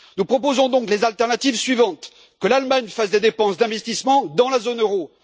Nous proposons donc les alternatives suivantes que l'Allemagne fasse des dépenses d'investissement dans la zone euro